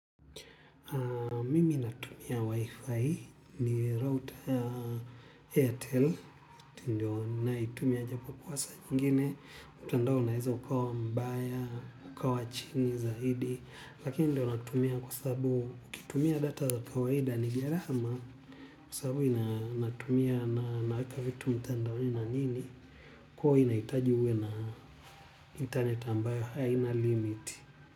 Mimi natumia Wi-Fi ni router ya Airtel ndio naitumia japo kuwasa jingine. Utandao unaeza ukawa mbaya, ukawa chingi, zaidi. Lakini ndio natumia kwa sababu ukitumia data za kawaida ni gharama. Kwa sababu inatumia na naweka vitu mtandaoni na nini. Kwa hivo inahitaji uwe na internet ambayo haina limit.